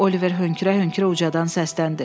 Oliver hönkürə-hönkürə ucadan səsləndi.